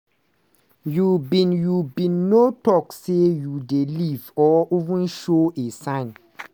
you bin you bin no tok say you dey leave or even show a sign.